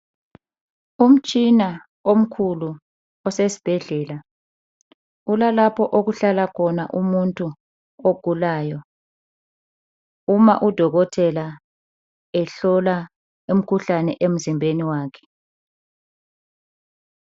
Umshina omkhulu osesibhedlela. Kulalapho okuhlala khona umuntu udokotela ehlola umkhuhlane emzimbeni wakhe.